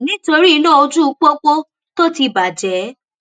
nítorí iná ojú pópó tó ti bàjẹ